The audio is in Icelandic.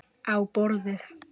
Á borðið.